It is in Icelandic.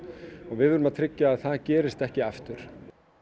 við verðum að tryggja að það gerist ekki aftur